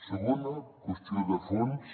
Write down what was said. segona qüestió de fons